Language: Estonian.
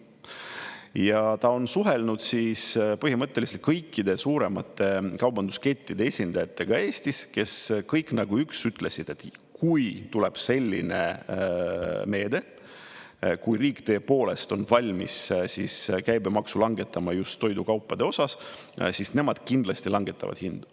Ja ta on suhelnud põhimõtteliselt kõikide suuremate kaubanduskettide esindajatega Eestis, kes kõik nagu üks ütlesid: kui tuleb selline meede, kui riik tõepoolest on valmis käibemaksu langetama just toidukaupade osas, siis nemad kindlasti langetavad hindu.